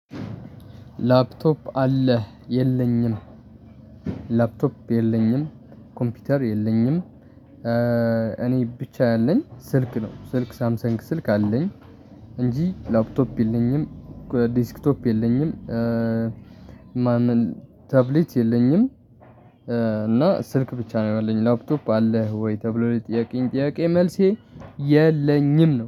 ላፕቶፕ አለህ የለኝም። ላፕቶፕ የለኝም ኮምፒውተር የለኝም። እኔ ብቻ ያለኝ ስልክ ነው። ስልክ ሳምሰንግ ስልክ አለኝ። እንጂ ላፕቶፕ የለኝም። ዲስክቶፕ የለኝም። ማን? ታብሌት የለኝም። እና ስልክ ብቻ ነው ያለኝ። ላፕቶፕ አለህ ወይ? ተብሎ ለተጠየቅቀኝ ጥያቄ መልሴ የለኝም ነው